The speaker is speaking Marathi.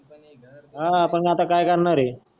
ह आपण आता की करणार आहे.